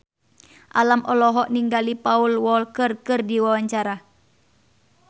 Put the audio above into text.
Alam olohok ningali Paul Walker keur diwawancara